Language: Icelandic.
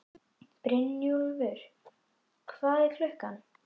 Brynjúlfur, hvað er klukkan?